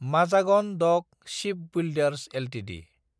Mazagon dock shipbuilders Ltd